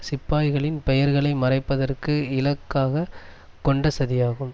சிப்பாய்களின் பெயர்களை மறைப்பதற்கு இலக்காக கொண்ட சதியாகும்